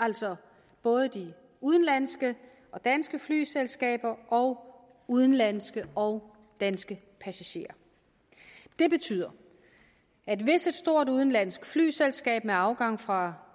altså både de udenlandske og danske flyselskaber og udenlandske og danske passagerer det betyder at hvis et stort udenlandsk flyselskab med afgang fra